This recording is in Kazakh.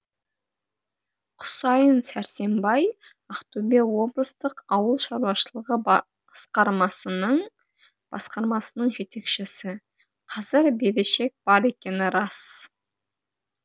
құсайын сәрсембай ақтөбе облыстық ауыл шаруашылығы басқармасының жетекшісі қазір берешек бар екені рас